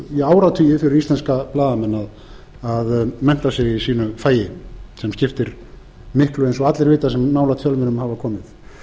í áratugi fyrir íslenska blaðamenn að mennta sig í sínu fagi sem skiptir miklu eins og allir vita sem nálægt fjölmiðlum hafa komið